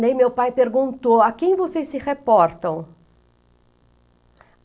Daí meu pai perguntou, a quem vocês se reportam?